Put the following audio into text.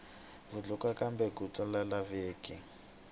vutlukwa tlukwa a byi laveki